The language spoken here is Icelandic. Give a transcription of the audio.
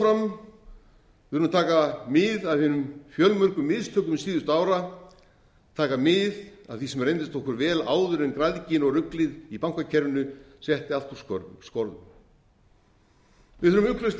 þurfum að taka mið af hinum fjölmörgu mistökum síðustu ára taka mið af því sem reyndist okkur vel áður en græðgin og ruglið í bankakerfinu setti allt úr skorðum við þurfum ugglaust